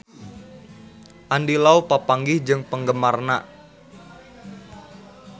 Andy Lau papanggih jeung penggemarna